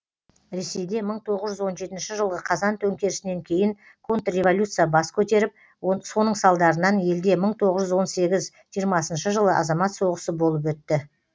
ресейде мың тоғыз жүз он жетінші жылғы қазан төңкерісінен кейін контрреволюция бас көтеріп соның салдарынан елде мың тоғыз жүз он сегіз жиырмасыншы жылы азамат соғысы болып өтті